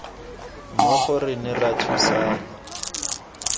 mmogo re ne ra thusana